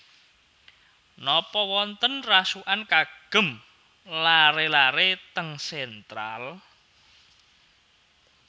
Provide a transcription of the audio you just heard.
Nopo wonten rasukan kagem lare lare teng Central